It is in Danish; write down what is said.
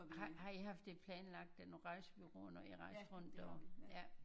Har har i haft det planlagt af nogen rejsebureauer når i rejste rundt derover? Ja